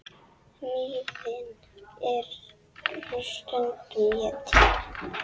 Hnýðin eru stundum étin.